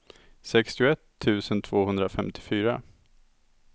sextioett tusen tvåhundrafemtiofyra